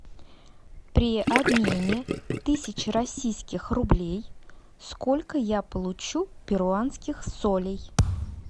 при обмене тысячи российских рублей сколько я получу перуанских солей